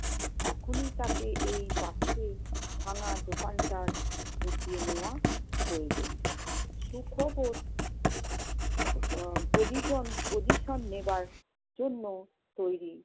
এখনি তাকে এই পাথুরে ভাঙ্গা দোকানটার ঢুকিয়ে নেওয়া প্রয়োজন। সুখবর উম position~ position নেবার জন্য তৈরি।